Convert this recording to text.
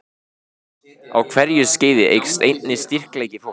Á hverju skeiði eykst einnig styrkleiki fólks.